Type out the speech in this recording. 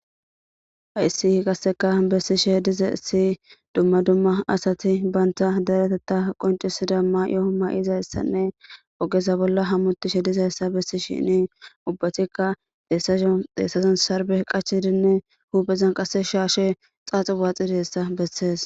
Hayssi qasseka bessishe diza si dumma dumma asati bayntha dereteta qoncisida maayoo ma 7izayssanne ogeza bolla hammutishe dizayssa bessi shini ubbatikka deessasho deessason sarbe qachidinne huuphezan qasse shaashe xaaxu waaxide hessa bessees.